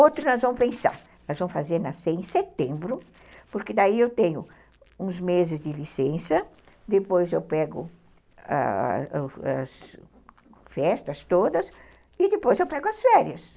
Outro nós vamos pensar, nós vamos fazer nascer em setembro, porque daí eu tenho uns meses de licença, depois eu pego as festas todas e depois eu pego as férias.